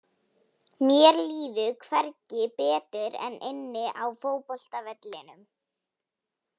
Mér líður hvergi betur en inni á fótboltavellinum.